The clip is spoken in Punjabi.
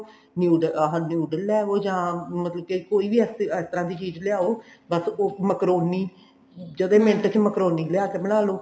ਨੂਡ ਆਹ noodle ਲੈ ਆਉ ਜਾਂ ਮਤਲਬ ਕੋਈ ਵੀ ਇਸ ਤਰ੍ਹਾਂ ਦੀ ਚੀਜ਼ ਲੈ ਆਉ ਬੱਸ ਉਹ ਮਕਰੋਨੀ ਜੜੇ ਮਿੰਟ ਚ ਮਕਰੋਨੀ ਲਿਆ ਕੇ ਬਣਾਲੋ